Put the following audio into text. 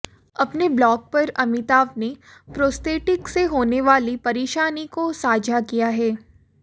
अपने ब्लॉग पर अमिताभ ने प्रोस्थेटिक से होने वाली परेशानी को साझा किया है